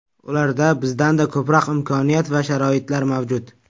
Ularda bizdanda ko‘proq imkoniyat va sharoitlar mavjud.